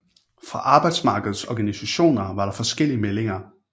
Fra arbejdsmarkedets organisationer var der forskellige meldinger